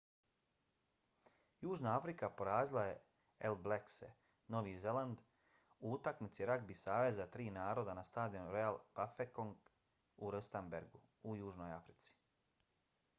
južna afrika porazila je all blackse novi zeland u utakmici ragbi saveza tri naroda na stadionu royal bafokeng u rustenburgu u južnoj africi